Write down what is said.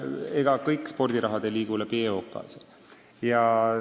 Ega kogu spordiraha ei liigu EOK kaudu.